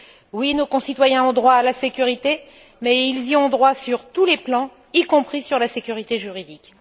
Oui, nos concitoyens ont droit à la sécurité, mais ils y ont droit sur tous les plans, y compris celui de la sécurité juridique.